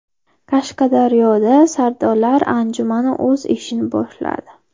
Qashqadaryoda sardorlar anjumani o‘z ishini boshladi.